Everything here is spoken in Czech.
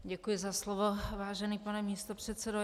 Děkuji za slovo, vážený pane místopředsedo.